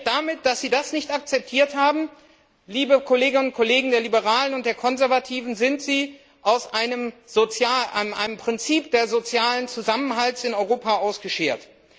Damit, dass Sie das nicht akzeptiert haben, liebe Kolleginnen und Kollegen von den Liberalen und Konservativen, sind Sie aus einem Prinzip des sozialen Zusammenhalts in Europa ausgeschert.